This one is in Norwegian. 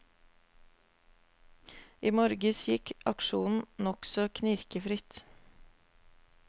I morges gikk aksjonen nokså knirkefritt.